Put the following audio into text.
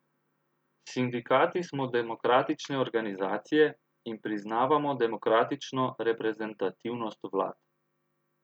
Sindikati smo demokratične organizacije in priznavamo demokratično reprezentativnost vlad.